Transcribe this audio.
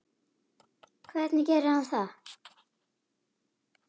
Hvernig gerir hann það?